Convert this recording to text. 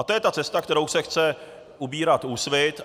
A to je ta cesta, kterou se chce ubírat Úsvit.